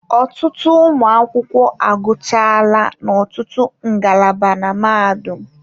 Ọtụtụ ụmụ akwụkwọ agụchaala n'ọtụtụ ngalaba na mahadum